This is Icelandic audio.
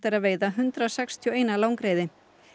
að veita hundrað sextíu og eitt langreyði